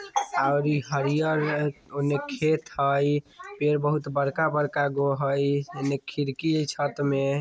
और इ हरियर ओने खेत हैय पेड़ बोहत बड़का-बड़का गो हेय इने खिड़की हेय छत में।